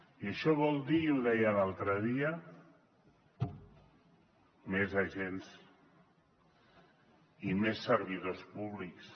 i això vol dir i ho deia l’altre dia més agents i més servidors públics